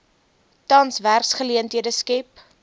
tans werksgeleenthede skep